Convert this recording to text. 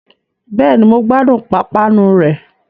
Bẹ́ẹ̀ni, mo gbádùn pápánu rẹ̀